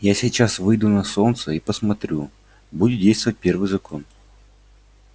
я сейчас выйду на солнце и посмотрю будет действовать первый закон